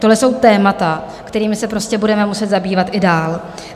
Tohle jsou témata, kterými se prostě budeme muset zabývat i dál.